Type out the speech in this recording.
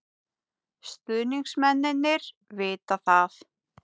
Stuðningsmennirnir vita það.